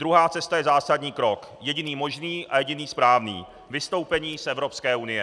Druhá cesta je zásadní krok, jediný možný a jediný správný - vystoupení z Evropské unie.